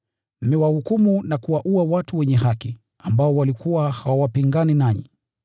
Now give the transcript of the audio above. Mmewahukumu na kuwaua watu wenye haki, waliokuwa hawapingani nanyi.